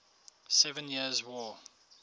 seven years war